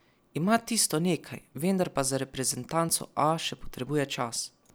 Ima tisto nekaj, vendar pa za reprezentanco A še potrebuje čas.